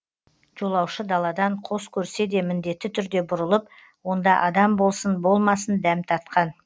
жолаушы даладан қос көрсе де міндетті түрде бұрылып онда адам болсын болмасын дәм татқан